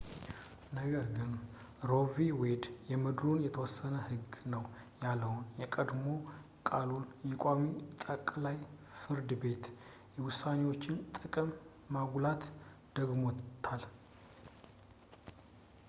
ነገር ግን ሮ ቪ ዌድ የምድሩ የተወሰነ ህግ ነው ያለውን የቀድሞ ቃሉን የቋሚ ጠቅላይ ፍርድ ቤት ውሳኔዎችን ጥቅም በማጉላት ደግሞታል